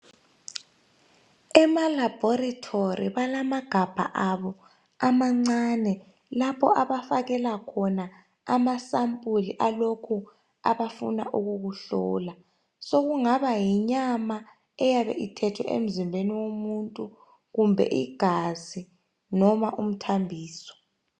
Emalabhorithori balamagabha abo amancane lapho abafakela khona amasampula alokhu abafuna ukukuhlola. Sokungaba yinyama eyabe ithethwe emzimbeni womuntu kumbe igazi noma umthambiso.